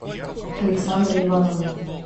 александра ивановна